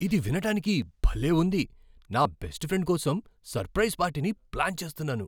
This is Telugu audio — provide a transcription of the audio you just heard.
ఇది వినడానికి భలే ఉంది! నా బెస్ట్ ఫ్రెండ్ కోసం సర్ప్రైజ్ పార్టీని ప్లాన్ చేస్తున్నాను